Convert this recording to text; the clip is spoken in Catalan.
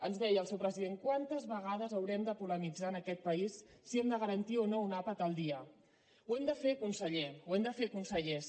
ens deia el seu president quantes vegades haurem de polemitzar en aquest país si hem de garantir o no un àpat al dia ho hem de fer conseller ho hem de fer consellers